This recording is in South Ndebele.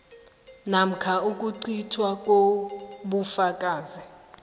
namkha ukucithwa kobufakazi